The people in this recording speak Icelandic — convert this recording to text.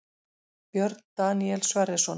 Björn Daníel Sverrisson